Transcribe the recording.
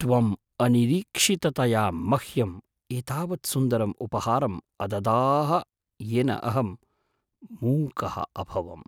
त्वम् अनिरीक्षिततया मह्यम् एतावत्सुन्दरम् उपहारम् अददाः येन अहं मूकः अभवम्।